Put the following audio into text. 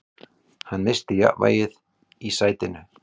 Hann missti jafnvægið í sætinu.